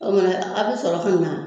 O kumana a bɛ sɔrɔ ka na